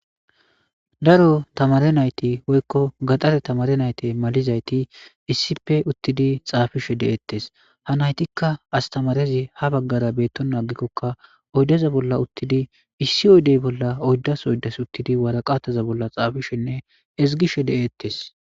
Daro tamare nayti woykko gaxare tamare nayte malizayti issife uttidi xaafishe de'eettes. Ha naytikka astamarezi ha baggara beetto naagikkokka oydaza bolla uttidi issi oydey bolla oyddas oydas uttidi waraqataza bolla xaafishenne ezigishe de'eettes.